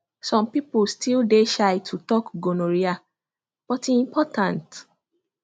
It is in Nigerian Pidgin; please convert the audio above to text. some people still dey shy to talk gonorrhea but e important